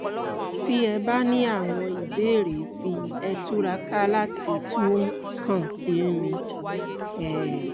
ti ẹ bá ní àwọn ìbéèrè síi ẹ túraká láti tún kàn sí mi um